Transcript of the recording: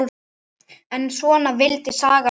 En svona vildi sagan vera